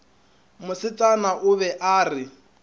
mosetsana o be a re